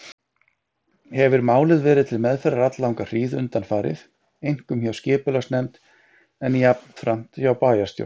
Hefir málið verið til meðferðar alllanga hríð undanfarið, einkum hjá skipulagsnefnd, en jafnframt hjá bæjarstjórn.